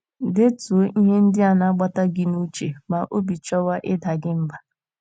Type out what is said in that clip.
Detuo ihe ndị na - agbata gị n’uche ma obi chọwa ịda gị mbà.